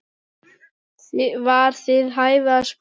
var við hæfi að spyrja.